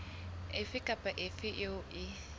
efe kapa efe eo e